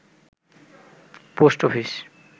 post office